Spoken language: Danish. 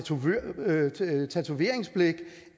tatoveringsblæk